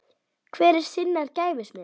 Hver er sinnar gæfu smiður